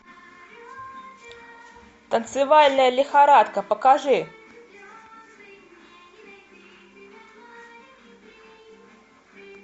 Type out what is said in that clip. танцевальная лихорадка покажи